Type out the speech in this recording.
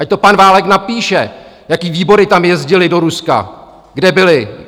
Ať to pan Válek napíše, jaké výbory tam jezdily do Ruska, kde byly!